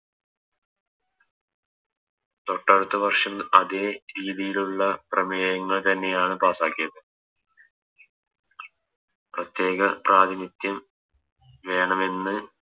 തൊട്ടടുത്ത വർഷം അതെ രീതിയിലുള്ള പ്രമേയങ്ങൾ തന്നെയാണ് Pass ആക്കിയത് പ്രത്യേക പ്രാധിനിത്യം വേണമെന്ന്